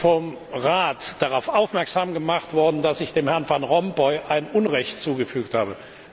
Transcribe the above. Ich bin vom Rat darauf aufmerksam gemacht worden, dass ich Herrn van Rompuy Unrecht zugefügt habe.